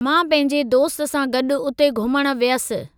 मां पंहिजे दोस्त सां गॾु उते घुमण वियसि।